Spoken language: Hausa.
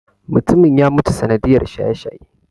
Mutumin ya mutu sanadiyar shaye-shaye.